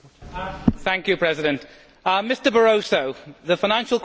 Mr Barroso, the financial crisis in the UK is very serious.